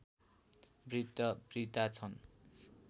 वृद्धवृद्धा छन्